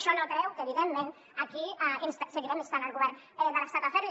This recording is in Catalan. això no treu que evidentment aquí seguirem instant el govern de l’estat a fer ho